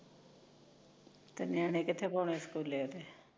ਤੇ ਨਿਆਣੇ ਕਿੱਥੇ ਪੋਣੇ ਸਕੁਲੇ ਓਥੇ